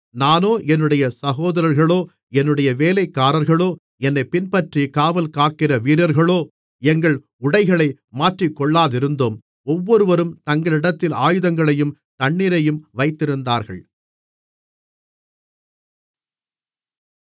நானோ என்னுடைய சகோதரர்களோ என்னுடைய வேலைக்காரர்களோ என்னைப் பின்பற்றி காவல்காக்கிற வீரர்களோ எங்கள் உடைகளை மாற்றிக் கொள்ளாதிருந்தோம் ஒவ்வொருவரும் தங்களிடத்தில் ஆயுதங்களையும் தண்ணீரையும் வைத்திருந்தார்கள்